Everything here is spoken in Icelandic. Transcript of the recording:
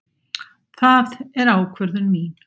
Það er ákvörðun mín.